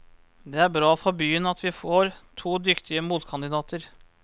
Det er bra for byen at vi får to dyktige motkandidater.